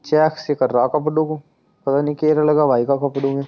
checks का कर रहा है कपड़ो को पता नी केरा लगा भाई का कपड़ो में